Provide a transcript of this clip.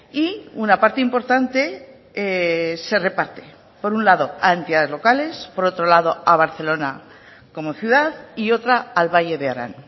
y una parte importante se reparte por un lado a entidades locales por otro lado a barcelona como ciudad y otra al valle de arán